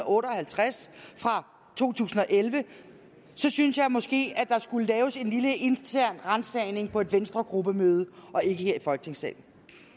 og halvtreds fra to tusind og elleve synes jeg måske at der skulle laves en lille intern ransagning på et venstregruppemøde og ikke her i folketingssalen